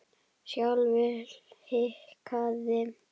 Sjálfur hikaði